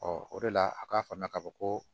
o de la a k'a faamuya ka fɔ ko